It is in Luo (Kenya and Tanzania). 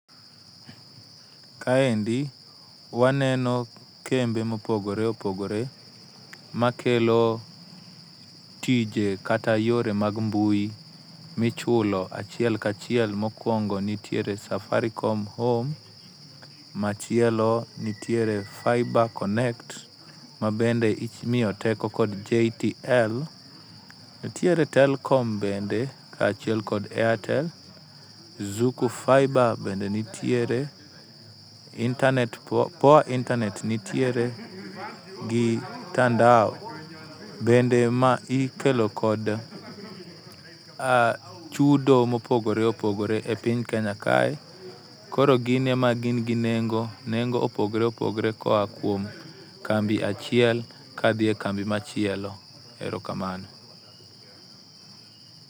Kaendi waneno kembe mopogore opogore makelo tije kata yore mag mbui michulo achiel ka chiel, mokungo nitiere Safaricom home, machielo nitiere fiba connect mabe imiyo teko kod JTL , nitiere Telekom bende kaachiel kod airtel , Zuku faiba bende nitiere, internate poa internate nitiere gi tandao bende ma ikelo kod chudo ma opogore opogore e piny Kenya kae, koro gin ema gin gi nengo. Nengo pogore opogore koa e kambi achiel kadhi e kambi machielo. Erokamano.